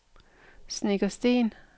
Snekkersten